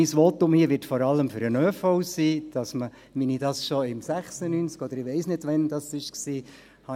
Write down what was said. Mein Votum hier wird vor allem für den ÖV sein, wie ich das schon im Jahr 1996 – oder ich weiss nicht, wann das war – gesagt habe: